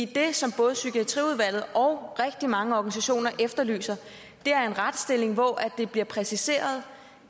det som både psykiatriudvalget og rigtig mange organisationer efterlyser er en retsstilling hvor det bliver præciseret